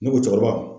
Ne ko cɛkɔrɔba